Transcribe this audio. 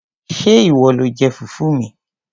Ṣé ìwọ lo jẹ fùfú mi?